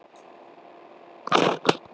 Samt vissum við raunar aldrei hver þetta var.